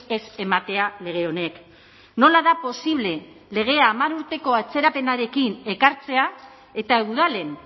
ez ematea lege honek nola da posible lege hamar urteko atzerapenarekin ekartzea eta udalen